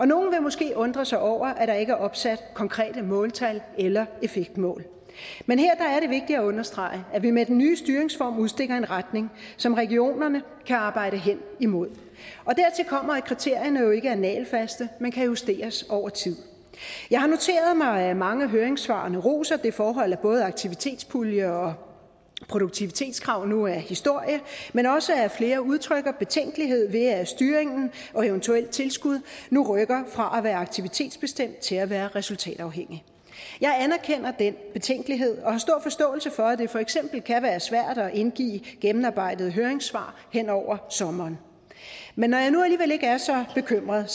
nogle vil måske undre sig over at der ikke er opsat konkrete måltal eller effektmål men her er det vigtigt at understrege at vi med den nye styringsform udstikker en retning som regionerne kan arbejde hen imod dertil kommer at kriterierne jo ikke er nagelfaste men kan justeres over tid jeg har noteret mig at mange af høringssvarene roser det forhold at både aktivitetspulje og produktivitetskrav nu er historie men også at flere udtrykker betænkelighed ved at styringen og eventuelt tilskud nu rykker fra at være aktivitetsbestemte til at være resultatafhængige jeg anerkender den betænkelighed og har stor forståelse for at det for eksempel kan være svært at indgive gennemarbejdede høringssvar hen over sommeren men når jeg nu alligevel ikke er så bekymret er